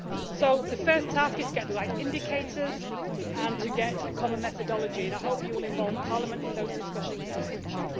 So the first task is to get the right indicators and to get a common methodology, and I hope you will involve Parliament in those discussions in the future.